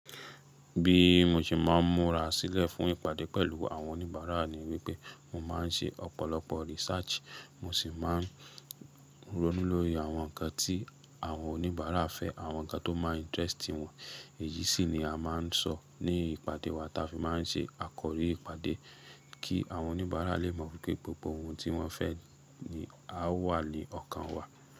Bí mo ṣe máa ń múra sílẹ̀ fún ìpàdé pẹ̀lú àwọn oníbàárà ni wípé mọ̀ máa ń ṣe ọ̀pọ̀lọpọ̀ research, mo sì máa ń ronú lórí àwọn nǹkan tí àwọn oníbàárà fẹ́, àwọn nǹkan tó máa ń interest wọn. Èyí sì ni a máa ń sọ ní ìpàdé wa táa fi máa ń ṣe àkọrí ìpàdé, kí àwọn oníbàárà lè mọ̀ wípé gbogbo ohun tí wọ́n fẹ́ ni á wà ní ọkàn wa.